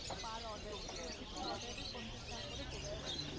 Per order এ প্রত্যেকটা Order এ পঞ্চাশ টাকা করে পরতে পারে।